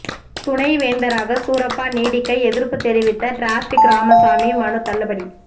துணைவேந்தராக சூரப்பா நீடிக்க எதிர்ப்பு தெரிவித்த டிராபிக் ராமசாமி மனு தள்ளுபடி